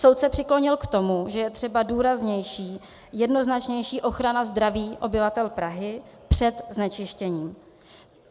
Soud se přiklonil k tomu, že je třeba důraznější, jednoznačnější ochrana zdraví obyvatel Prahy před znečištěním.